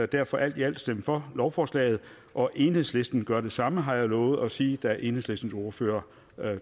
derfor alt i alt stemme for lovforslaget og enhedslisten gør det samme har jeg lovet at sige da enhedslistens ordfører